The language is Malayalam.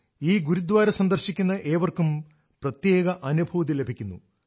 ഈ ഗുരുദ്വാര സന്ദർശിക്കുന്ന ഏവർക്കും പ്രത്യേക അനുഭൂതി ലഭിക്കുന്നു